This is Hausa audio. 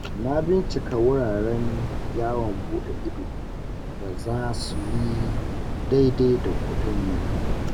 Na bincika wuraren yawon buɗe ido da za su yi daidai da kuɗinmu.